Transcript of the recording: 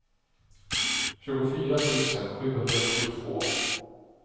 tjugofyra tusen sjuhundratjugotvå